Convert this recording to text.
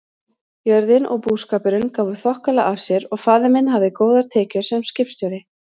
Jörðin og búskapurinn gáfu þokkalega af sér og faðir minn hafði góðar tekjur sem skipstjóri.